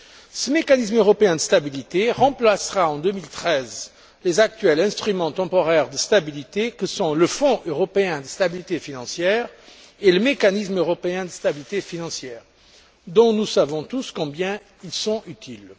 Ce mécanisme européen de stabilité remplacera en 2013 les actuels instruments temporaires de stabilité que sont le fonds européen de stabilité financière et le mécanisme européen de stabilité financière, dont nous savons tous combien ils sont utiles.